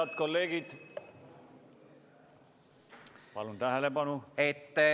Head kolleegid, palun tähelepanu!